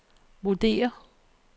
vurderer